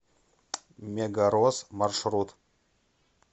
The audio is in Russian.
мегарос маршрут